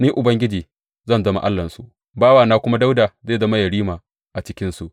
Ni Ubangiji zan zama Allahnsu, bawana kuma Dawuda zai zama yerima a cikinsu.